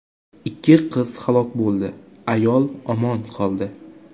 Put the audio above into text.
Ikki qiz halok bo‘ldi, ayol omon qoldi.